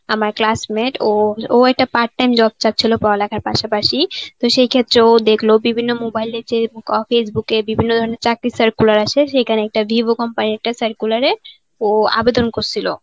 আমার classmate ও ও এটা part time job চাচ্ছিলো পড়া লেখার পাশাপাশি. তো সেই ক্ষেত্রে ও দেখল বিভিন্ন mobile এ যে অ্যাঁ Facebook এ, বিভিন্ন ধরনের চাকরি circular আসে. সেইখান একটা vivo company র একতাক circular এ ও আবেদন করছিল.`